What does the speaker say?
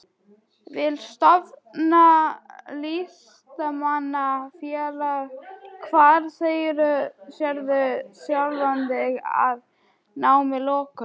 Vill stofna Listamanna-félag Hvar sérðu sjálfan þig að námi loknu?